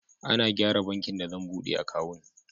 Ana gyara bankin da zan buɗe akawun.